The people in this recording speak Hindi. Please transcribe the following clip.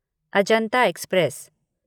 अजंता एक्सप्रेस